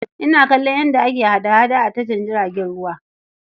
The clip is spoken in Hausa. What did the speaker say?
Ina kallon yadda ake hada-hada a tashar jiragen ruwa.